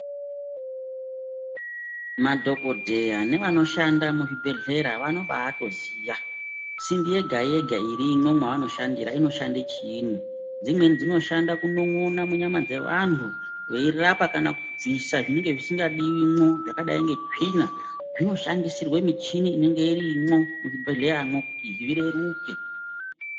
Madhokodheya nevanoshanda muzvibhehleya vanobaatoziya simbi yegayega irimwo mwaanoshandira inoshande chiinyi, dzimweni dzinoshanda kunon'ona munyama dzevanhu veirapa kana kubvisa zvinenge zvisingadiwi mwo zvakadai ngetsvina zvinoshandisirwe michini inonga irimwo muchibhehleyamwo kuti zvireruke.